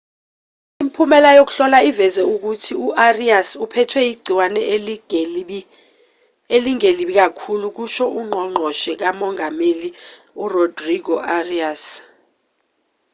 imiphumela yokuhlola iveze ukuthi u-arias uphethwe igciwane elingelibi kakhulu kusho ungqongqoshe kamongameli urodrigo arias